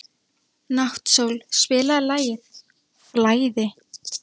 Náttsól, spilaðu lagið „Flæði“.